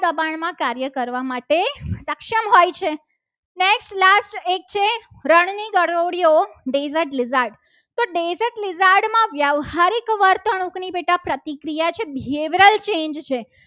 દબાણ માં કાર્ય કરવા સક્ષમ હોય છે. next last એક છ. રણ ની ગરોળી deseart lizard તો deseart lizard માં વ્યવહારિક વર્તુળની બેટા પ્રતિક્રિયા છે. behaviroal change છે.